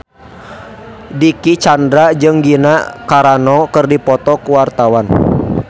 Dicky Chandra jeung Gina Carano keur dipoto ku wartawan